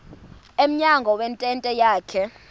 emnyango wentente yakhe